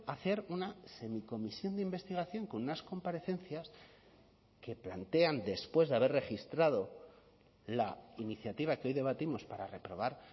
hacer una semicomisión de investigación con unas comparecencias que plantean después de haber registrado la iniciativa que hoy debatimos para reprobar